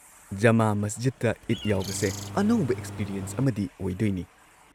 ꯖꯃꯥ ꯃꯁꯖꯤꯗꯇ ꯏꯗ ꯌꯥꯎꯕꯁꯦ ꯑꯅꯧꯕ ꯑꯦꯛꯁꯄꯤꯔꯤꯑꯦꯟꯁ ꯑꯃꯗꯤ ꯑꯣꯏꯗꯣꯏꯅꯤ꯫